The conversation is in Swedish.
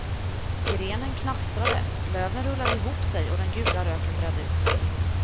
Grenen knastrade, löven rullade ihop sig och den gula röken bredde ut sig.